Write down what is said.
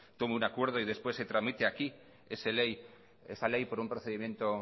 tome un acuerdo y después se tramite aquí esa ley por un procedimiento